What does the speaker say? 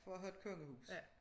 For at have et kongehus